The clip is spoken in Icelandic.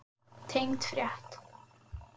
Tengd frétt